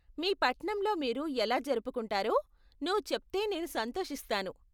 మీ పట్నంలో మీరు ఎలా జరుపుకుంటారో నువ్వు చెప్తే నేను సంతోషిస్తాను.